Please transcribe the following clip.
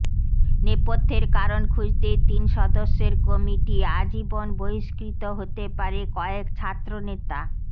নেপথ্যের কারণ খুঁজতে তিন সদস্যের কমিটি আজীবন বহিষ্কৃত হতে পারে কয়েক ছাত্রনেতা